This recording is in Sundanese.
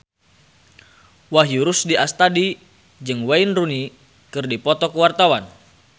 Wahyu Rudi Astadi jeung Wayne Rooney keur dipoto ku wartawan